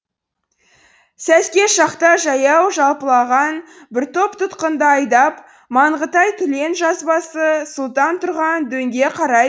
сәске шақта жаяу жалпылаған бір топ тұтқынды айдап маңғытай түлен жазбасы сұлтан тұрған дөңге қарай